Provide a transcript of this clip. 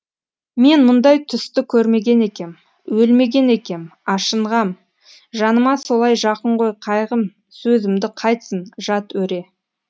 мен мұндай түсті көрмеген екем өлмеген екем ашынғам жаныма солай жақын ғой қайғым сөзімді қайтсін жат өре